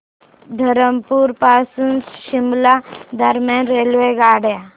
धरमपुर पासून शिमला दरम्यान रेल्वेगाड्या